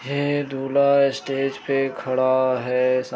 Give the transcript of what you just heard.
यह दूल्हा स्टेज पे खड़ा है सा --